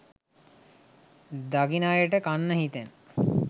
දකින අයට කන්න හිතෙන